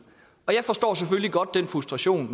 jeg forstår selvfølgelig godt den frustration